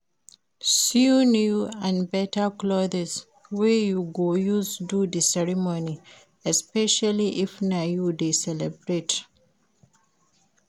Sew new and better clothes wey you go use do di ceremony especially if na you de celebrate